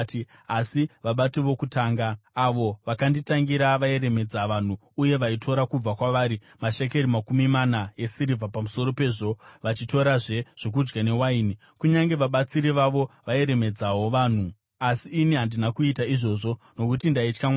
Asi vabati vokutanga, avo vakanditangira, vairemedza vanhu uye vaitora kubva kwavari mashekeri makumi mana esirivha, pamusoro pezvo vachitorazve zvokudya newaini. Kunyange vabatsiri vavo vairemedzawo vanhu. Asi ini handina kuita izvozvo nokuti ndaitya Mwari.